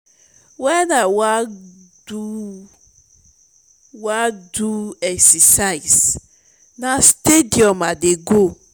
wen i wan do wan do exercise na stadium i dey go.